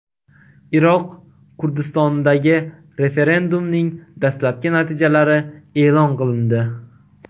Iroq Kurdistonidagi referendumning dastlabki natijalari e’lon qilindi.